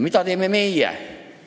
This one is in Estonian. Mida teeme meie?